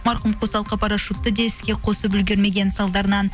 марқұм қосалқы парашютті де іске қосып үлгермеген салдарынан